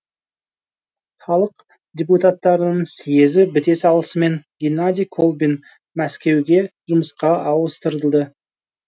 халық депутаттарының съезі біте салысымен геннадий колбин мәскеуге жұмысқа ауыстырылды